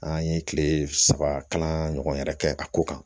An ye kile saba kalan ɲɔgɔn yɛrɛ kɛ a ko kan